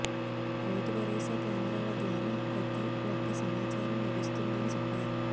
రైతు భరోసా కేంద్రాల ద్వారా ప్రతి ఒక్క సమాచారం లభిస్తుందని చెప్పారు